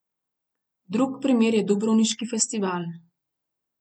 Drug primer je dubrovniški festival.